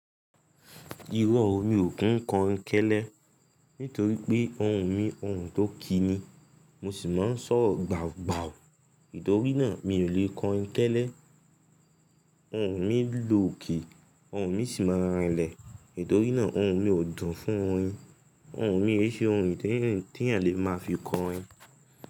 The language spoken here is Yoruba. Irọ́ o, mi ń kí kọrin kẹ́lẹ́, nítorí ohùn mi ohùn tó kíí ni, mo sìí máa ń sọ̀rọ̀ gbàùgbàù nítorí náà mi léè kọrin kẹ́lẹ́. Ohùn mi lòokè, ohùn mi sì máa n rinlẹ̀ nítorí náà ohùn mi ò dùn fún orin. Ohùn mi eese ohùn tí eeyan lè máa fi kọrin.